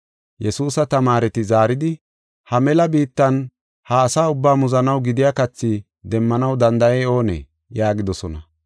Yesuusa tamaareti zaaridi, “Ha mela biittan ha asa ubbaa muzanaw gidiya kathi demmanaw danda7ey oonee?” yaagidosona.